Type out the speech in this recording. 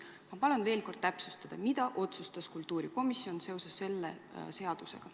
Ma palun veel kord täpsustada, mida otsustas kultuurikomisjon seoses selle seadusega.